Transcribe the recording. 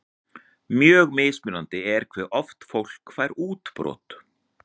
Mjög mismunandi er hve oft fólk fær útbrot.